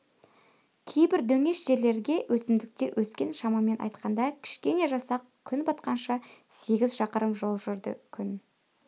кейбір дөңес жерлерге өсімдіктер өскен шамамен айтқанда кішкене жасақ күн батқанша сегіз шақырым жол жүрді күн